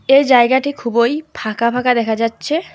এই জায়গাটি খুবই ফাঁকা ফাঁকা দেখা যাচ্ছে।